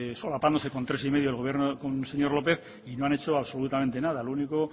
solapándose con tres y medios del gobierno del señor lópez y no han hecho absolutamente nada lo único